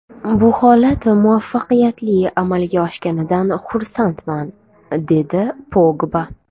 Bu holat muvaffaqiyatli amalga oshganidan xursandman”, dedi Pogba.